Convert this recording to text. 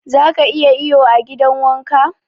Zaka iya iyo a gidan wanka?